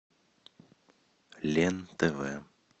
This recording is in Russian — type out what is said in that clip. лен тв